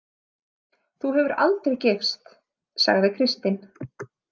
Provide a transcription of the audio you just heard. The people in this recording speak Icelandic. Þú hefur aldrei gifst, sagði Kristín.